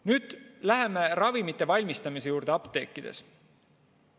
Nüüd läheme ravimite valmistamise juurde apteekides.